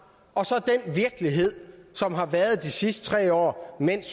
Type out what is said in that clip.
og så den virkelighed som har været de sidste tre år mens